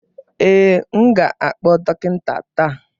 Ee, m ga-akpọ dọkịta taa